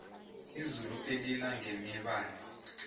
izulu elinangebibani